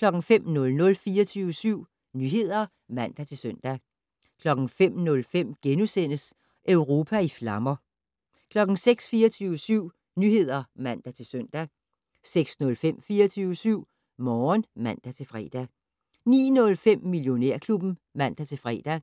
05:00: 24syv Nyheder (man-søn) 05:05: Europa i flammer * 06:00: 24syv Nyheder (man-søn) 06:05: 24syv Morgen (man-fre) 09:05: Millionærklubben (man-fre)